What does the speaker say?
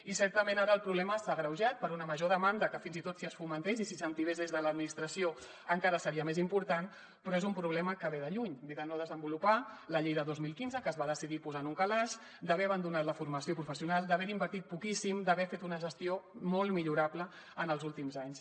i certament ara el problema s’ha agreujat per una major demanda que fins i tot si es fomentés i s’incentivés des de l’administració encara seria més important però és un problema que ve de lluny ve de no desenvolupar la llei de dos mil quinze que es va decidir posar en un calaix d’haver abandonat la formació professional d’haver hi invertit poquíssim d’haver ne fet una gestió molt millorable en els últims anys